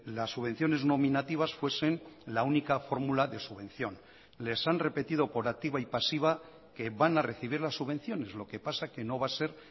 las subvenciones nominativas fuesen la única fórmula de subvención les han repetido por activa y pasiva que van a recibir las subvenciones lo que pasa que no va a ser